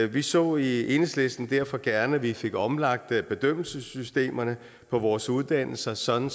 vi så i enhedslisten derfor gerne at vi fik omlagt bedømmelsessystemerne på vores uddannelser sådan